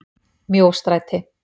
Mjóstræti